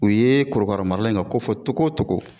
U ye korokaramarala in ka ko fɔ cogo cogo